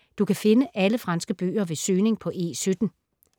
Du kan finde alle franske bøger ved søgning på E17.